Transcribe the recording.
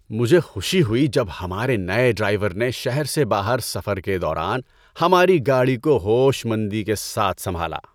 مجھے خوشی ہوئی جب ہمارے نئے ڈرائیور نے شہر سے باہر سفر کے دوران ہماری گاڑی کو ہوش مندی کے ساتھ سنبھالا۔